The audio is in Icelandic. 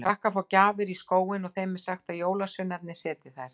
Krakkar fá gjafir í skóinn og þeim er sagt að jólasveinarnir setji þær þar.